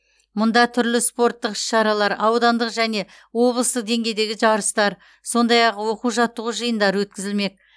мұнда түрлі спорттық іс шаралар аудандық және облыстық деңгейдегі жарыстар сондай ақ оқу жаттығу жиындары өткізілмек